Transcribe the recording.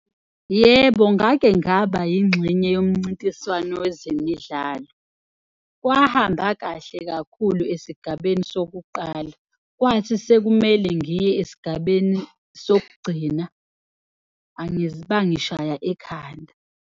Yebo, ngake ngaba yingxenye yomncintiswano wezemidlalo, kwahamba kahle kakhulu esigabeni sokuqala, kwathi sekumele ngiye esigabeni sokugcina bangishaya ekhanda.